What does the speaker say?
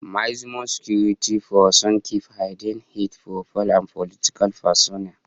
Maximum security prisons keep hardened, high profile and political prisoners